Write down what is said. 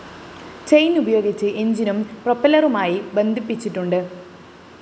chain ഉപയോഗിച്ച് എന്‍ജിനും പ്രൊപ്പെല്ലറുമായി ബന്ധിപ്പിച്ചിട്ടുണ്ട്